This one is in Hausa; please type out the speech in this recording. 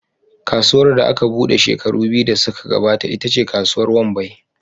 Kasuwar da aka buɗe shekaru biyu da suka gabata ita ce Kasuwar Wambai.